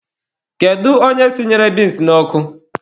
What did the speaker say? Kedu onye sinyere binsi n'ọkụ?